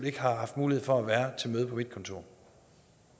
ikke har haft mulighed for at være til møde på mit kontor